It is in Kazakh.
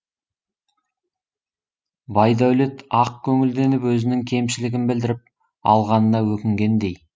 байдәулет ақ көңілденіп өзінің кемшілігін білдіріп алғанына өкінгендей